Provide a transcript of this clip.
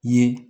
Ye